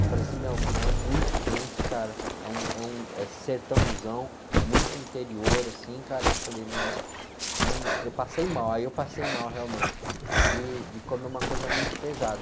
Eu falei assim, meu, é muito quente, cara, é um, é um, é, sertãozão, muito interior, assim, cara, eu falei, meu, eu passei mal, aí eu passei mal, realmente, de comer uma coisa muito pesada.